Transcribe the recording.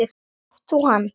Átt þú hann?